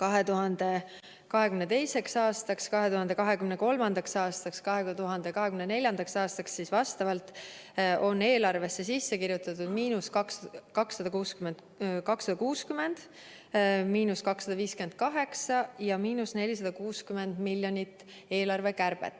2022. aastaks, 2023. aastaks, 2024. aastaks on eelarvesse sisse kirjutatud vastavalt –260, –258 ja –460 miljonit eelarvekärbet.